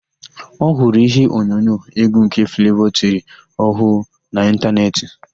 Ọ hụrụ íhé onyonyo égwú nke Flevọ tiri ọhụụ na ịntanetị.